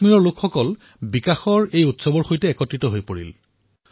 কাশ্মীৰৰ জনতাই বিকাশৰ এই উৎসৱত মুক্তমনে অংশগ্ৰহণ কৰিছিল